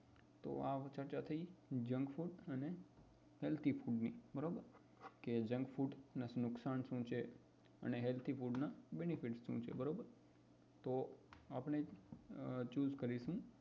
તો આ ચર્ચા થઇ junk food અને healthy food ની બરોબર કે junk food ના નુકસાન શું છે અને healthy food ના benefit શું છે તો આપડે choose કરીશુ